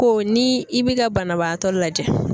Ko ni i bi ka banabaatɔ lajɛ